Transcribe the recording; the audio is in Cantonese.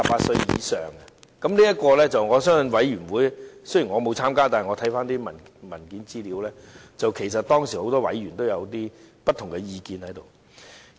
雖然我沒有參加相關的法案委員會，但我翻看有關的文件資料發現，當時很多委員也有不同意見。